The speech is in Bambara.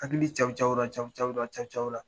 Hakili cawo cawora cawo cawora cawo cawora .